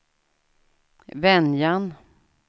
Venjan